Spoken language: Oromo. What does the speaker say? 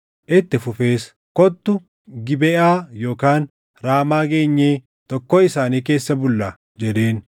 Itti fufees, “Kottu Gibeʼaa yookaan Raamaa geenyee tokkoo isaanii keessa bullaa” jedheen.